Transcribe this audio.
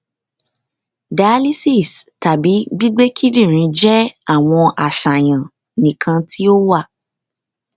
dialysis tabi gbigbe kidinrin jẹ awọn aṣayan nikan ti o wa